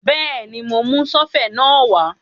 Bẹ́ẹ̀ni, mo mú sọ́fẹ̀ náà wá